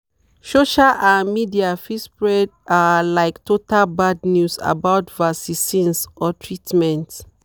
social ah media fit spread ah like total bad news about vacicines or treatment.